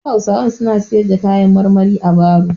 Wasu hausawan suna siyar da kayan marmari a baro.